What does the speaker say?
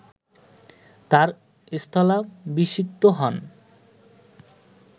তাঁর স্থলাভিষিক্ত হন